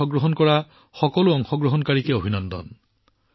মোৰ ফালৰ পৰা এই প্ৰতিযোগিতাবোৰত অংশগ্ৰহণকাৰীসকললৈ অনেক অভিনন্দন জনাইছো